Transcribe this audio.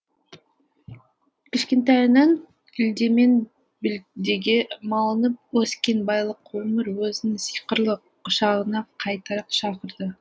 кішкентайынан үлде мен бүлдеге малынып өскен байлық өмір өзінің сиқырлы құшағына қайта шақырды